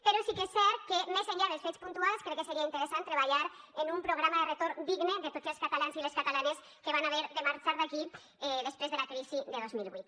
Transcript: però sí que és cert que més enllà dels fets puntuals crec que seria interessant treballar en un programa de retorn digne de tots els catalans i les catalanes que van haver de marxar d’aquí després de la crisi de dos mil vuit